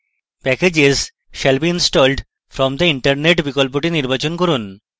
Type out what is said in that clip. packages shall be installed from the internet বিকল্পটি নির্বাচন করুন